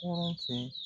Kɔrɔ fɛ